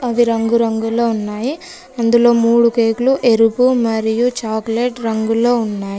అవి రంగురంగులో ఉన్నాయి అందులో మూడు కేకులు ఎరుపు మరియు చాక్లెట్ రంగులో ఉన్నాయి.